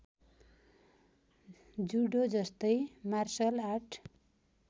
जुडोजस्तै martial art